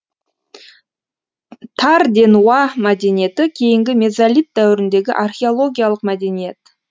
тарденуа мәдениеті кейінгі мезолит дәуіріндегі археологиялық мәдениет